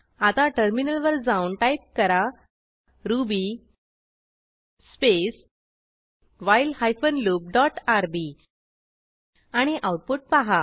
आता टर्मिनल वर जाऊन टाईप करा Ruby space while hyphen loop dot RB आणि आऊटपुट पहा